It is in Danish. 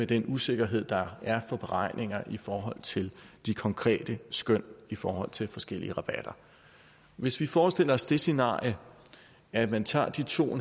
den usikkerhed der er for beregninger i forhold til de konkrete skøn i forhold til forskellige rabatter hvis vi forestiller os det scenarie at man tager de to